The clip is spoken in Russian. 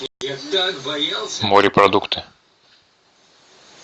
морепродукты